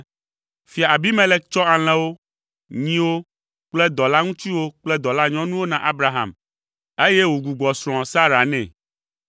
Fia Abimelek tsɔ alẽwo, nyiwo kple dɔlaŋutsuwo kple dɔlanyɔnuwo na Abraham, eye wògbugbɔ srɔ̃a, Sara, nɛ.